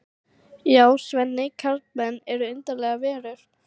Já, Svenni, karlmenn eru undarlegar verur.